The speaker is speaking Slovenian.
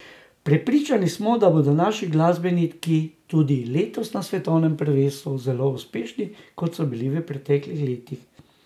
Prepričani smo, da bodo naši glasbeniki tudi letos na svetovnem prvenstvu zelo uspešni, kot so bili v preteklih letih.